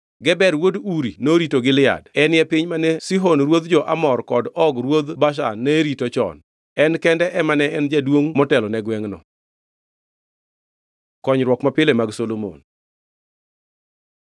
Geber wuod Uri norito Gilead (enie piny mane Sihon ruoth jo-Amor kod Og ruodh Bashan ne rito chon). En kende ema ne en jaduongʼ motelone gwengʼno. Konyruok mapile mag Solomon